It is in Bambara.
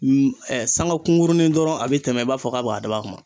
sanga kunkurunin dɔrɔn a bɛ tɛmɛ i b'a fɔ k'a bɛ k'a dabɔ a kama.